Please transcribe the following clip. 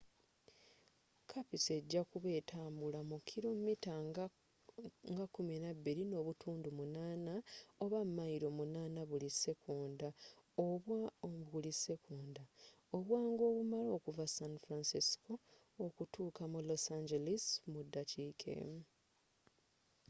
kapiso ejakuba etambulila mu kilo mita nga 12.8 oba mayilo 8 buli sekonda obwangu obumala okuva san francisco okutuuka mu los angeles mu dakiika emu